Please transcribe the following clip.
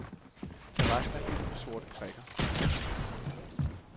Terrassen er fyldt med sorte prikker. punktum